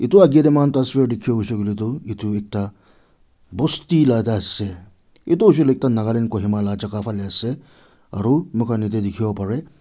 edu akae tae mohan edu ekta bosti laka ase edu hoishey koilae ekta nagaland kohima la jaka ase aru mohan yatae dikhiwo parae.